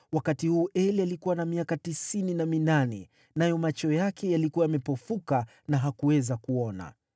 wakati huu Eli alikuwa na miaka tisini na minane nayo macho yake yalikuwa yamepofuka na hakuweza kuona.